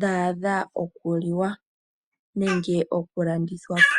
dhaadha oku liwa nenge oku landithwapo.